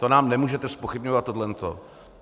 To nám nemůžete zpochybňovat, tohle to.